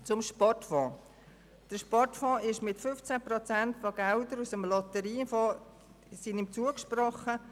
Zum Sportfonds: Dem Sportfonds wurden 15 Prozent der Gelder des Lotteriefonds zugesprochen.